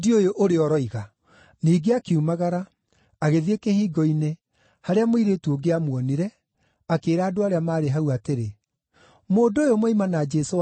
Ningĩ akiumagara, agĩthiĩ kĩhingo-inĩ, harĩa mũirĩtu ũngĩ aamuonire, akĩĩra andũ arĩa maarĩ hau atĩrĩ, “Mũndũ ũyũ moima na Jesũ wa Nazarethi.”